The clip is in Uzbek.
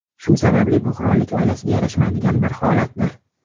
Shu sababli bu qirollik oilasiga yarashmaydigan bir holatdir.